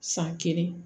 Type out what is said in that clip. San kelen